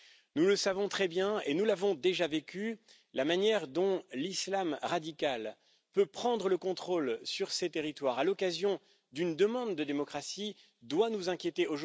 Nous le savons très bien et nous l'avons déjà vécu, la manière dont l'Islam radical peut prendre le contrôle de ces territoires, à l'occasion d'une demande de démocratie, doit nous inquiéter.